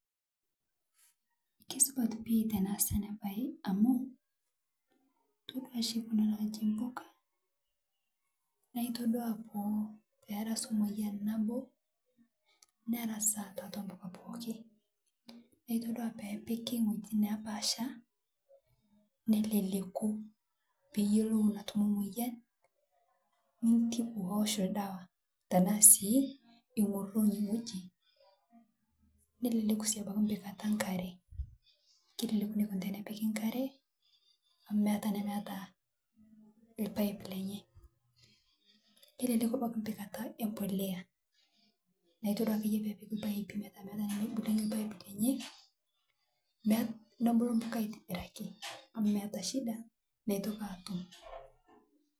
Kesipat pii tenaas ena bae amu, toduaa ashi kuna naaji impuka naitodu perssuu moyian nabo , neras tiatua mpuka pookin naa itoduwa ore peepiki ngueji naapasha, nelele peyioulu moyian nitibu oosh ildawa, tena sii ioroki wueji neeku sii abaki karate , keleleku tenepiki nkate amu meeta naa kata nemepiki ilpaip lenye , neleleku pikata embolea natoduaa peepiki ilpaipi metaa teboluni mebulu mpuka aitobiraki amu meeta shida meitoki aatooyu .